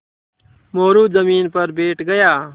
मोरू ज़मीन पर बैठ गया